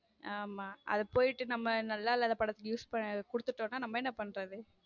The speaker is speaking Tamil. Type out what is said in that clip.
ஆமா அதுக்கு போயிட்டு நம்ம நல்லா இல்லாத படத்துக்க use குடுத்துட்டோம்னா நம்ம என்ன பண்றது